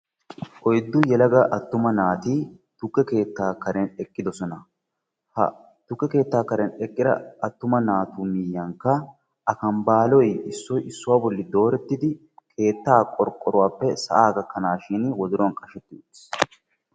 oyiddu yelaga attuma naati tukke keettaa karen eqqidosona. Ha tukke keettaaa karen eqqida attuma naatu miyiyankka akambaaloy issoy issuwaa bolli doorettidi keettaa qorqoruwappe sa'aa gakkanaashin wodoruwan qasheti uttiis.